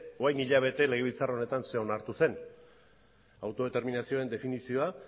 orain hilabete legebiltzar horretan zer onartu zen ere autodeterminazioaren definizioa